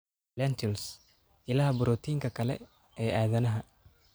Lentils: Ilaha borotiinka kale ee aadanaha.